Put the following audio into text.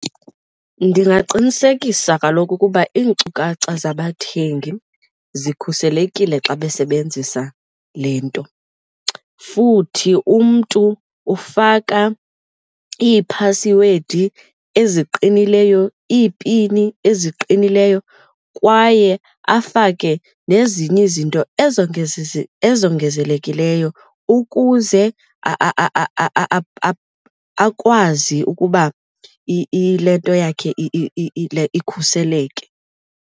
Ndingaqinisekisa kaloku ukuba iinkcukacha zabathengi zikhuselekile xa besebenzisa le nto. Futhi umntu ufaka iiphasiwedi eziqinileyo, iipini eziqinileyo kwaye afake nezinye izinto ezingezizo ongezelelekileyo ukuze akwazi ukuba ilento yakhe ikhuseleke.